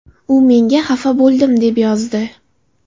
U menga ‘xafa bo‘ldim’ deb yozdi.